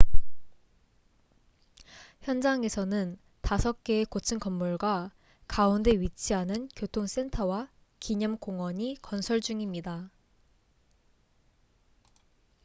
현장에서는 다섯 개의 고층 건물과 가운데 위치하는 교통 센터와 기념 공원이 건설 중입니다